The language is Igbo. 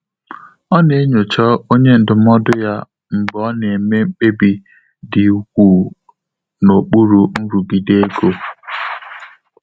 Ọ́ nà-ényóchá ọ́nyé ndụ́mọ́dụ́ yá mgbè ọ́ nà-émé mkpébí dị́ úkwúù n’ókpúrú nrụ́gídé égo.